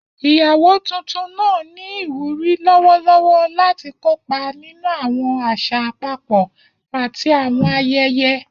Iyawo tuntun naa ni iwuri lọwọlọwọ lati kopa ninu awọn aṣa apapọ ati awọn ayẹyẹ.